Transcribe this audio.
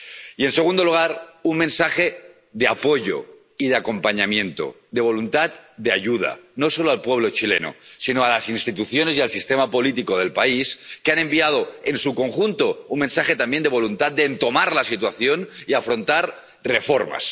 Y, en segundo lugar, un mensaje de apoyo y de acompañamiento, de voluntad de ayuda, no solo al pueblo chileno, sino a las instituciones y al sistema político del país, que han enviado, en su conjunto, un mensaje también de voluntad de encarar la situación y afrontar reformas.